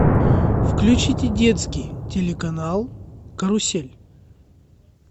включите детский телеканал карусель